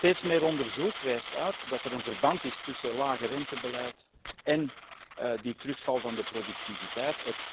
Steeds meer onderzoek wijst uit dat er een verband bestaat tussen lagerentebeleid en de terugval van de productiviteit